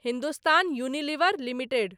Hindustan Unilever limited